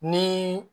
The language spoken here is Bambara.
Ni